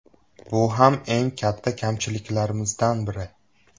Bu ham eng katta kamchiliklarimizdan biri.